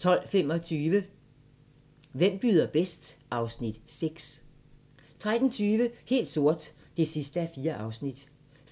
12:25: Hvem byder bedst? (Afs. 6) 13:20: Helt sort (4:4)